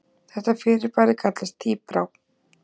Þetta fyrirbæri kallast tíbrá.